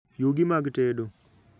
Yugi mag tedo